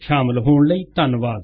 ਸ਼ਾਮਿਲ ਹੋਣ ਲਈ ਧੰਨਵਾਦ